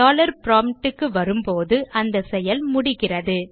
dollar PROMPT க்கு வரும்போது அந்த செயல் முடிகிறது